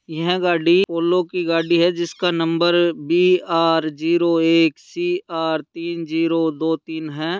यह गाडी पोलो की गाड़ी है जिसका नम्बर बी आर जीरो एक सी आर तीन जीरो दो तीन है।